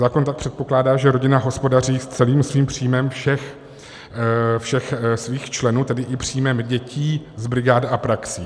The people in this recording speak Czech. Zákon tak předpokládá, že rodina hospodaří s celým svým příjmem všech svých členů, tedy i příjmem dětí z brigád a praxí.